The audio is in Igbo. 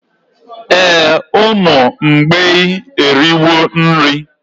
Ee, ụmụ mgbei eriwo nri